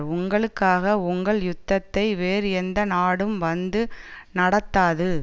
உங்களுக்காக உங்கள் யுத்தத்தை வேறு எந்த நாடும் வந்து நடத்தாது